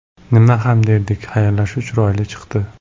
Nima ham derdik, xayrlashuv chiroyli chiqdi.